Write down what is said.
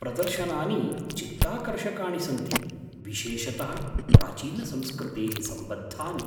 प्रदर्शनानि चित्ताकर्षकाणि सन्ति, विशेषतः प्राचीनसंस्कृतेः सम्बद्धानि।